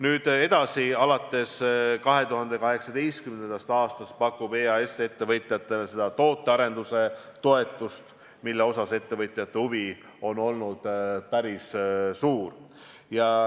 Nüüd, edasi, alates 2018. aastast pakub EAS ettevõtjatele seda tootearenduse toetust, mille suhtes ettevõtjate huvi on olnud päris suur.